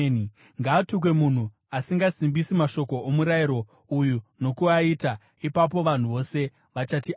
“Ngaatukwe munhu asingasimbisi mashoko omurayiro uyu nokuaita.” Ipapo vanhu vose vachati, “Ameni!”